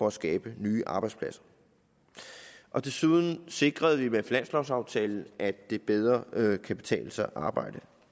at skabe nye arbejdspladser desuden sikrede vi med finanslovsaftalen at det bedre kan betale sig at arbejde